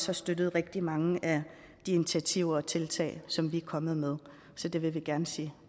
har støttet rigtig mange af de initiativer og tiltag som vi er kommet med så det vil vi gerne sige